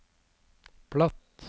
platt